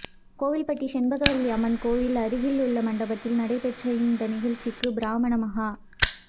கோவில்பட்டி செண்பகவல்லி அம்மன் கோயில் அருகிலுள்ள மண்டபத்தில் நடைபெற்ற இந்த நிகழ்ச்சிக்கு பிராமண மகா